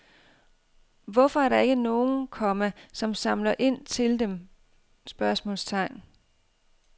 Hvorfor er der ikke nogen, komma som samler ind til dem? spørgsmålstegn